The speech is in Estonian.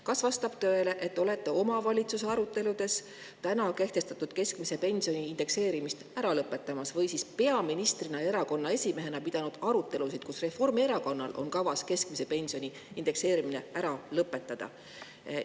Kas vastab tõele, et olete omavalitsustega aruteludes rääkinud sellest, et kavatsete praeguse keskmise pensioni indekseerimise ära lõpetada, või siis olete peaministrina ja erakonna esimehena pidanud selleteemalisi arutelusid ja Reformierakonnal on kavas keskmise pensioni indekseerimine ära lõpetada?